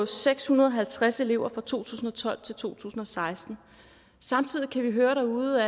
seks hundrede og halvtreds elever fra to tusind og tolv til to tusind og seksten samtidig kan vi høre derude